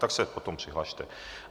Tak se potom přihlaste.